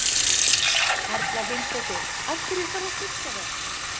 Erla Hlynsdóttir: Af hverju þarf að styrkja þá?